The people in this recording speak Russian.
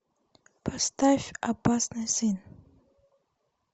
поставь опасный сын